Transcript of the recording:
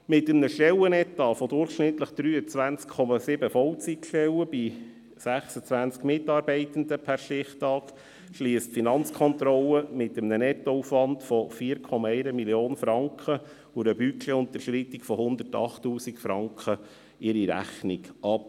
Mit einem Stellenetat von durchschnittlich 23,7 Vollzeiteinheiten bei 26 Mitarbeitenden per Stichtag schliesst die Finanzkontrolle bei einem Nettoaufwand von 4,1 Mio. Franken und einer Budgetunterschreitung von 108 000 Franken ihre Rechnung ab.